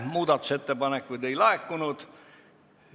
Muudatusettepanekuid ei laekunud.